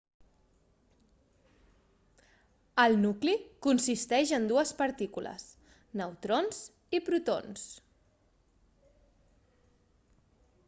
el nucli consisteix en dues partícules neutrons i protons